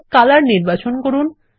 তাহলে কলর নির্বাচন করুন